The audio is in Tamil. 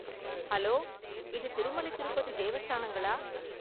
ஹலோ! இது திருமலை திருப்பதி தேவஸ்தானங்களா?